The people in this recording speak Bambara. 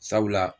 Sabula